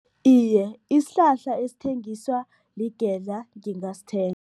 Iye, isihlahla esithengiswa ligedla ngingasithenga.